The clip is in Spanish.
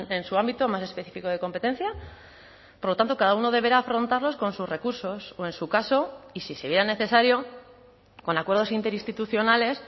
en su ámbito más específico de competencia por lo tanto cada uno deberá afrontarlos con sus recursos o en su caso y si se viera necesario con acuerdos interinstitucionales